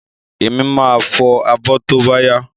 Èmi máa fo abọ́ bóbáyá